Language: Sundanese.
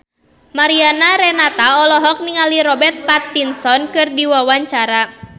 Mariana Renata olohok ningali Robert Pattinson keur diwawancara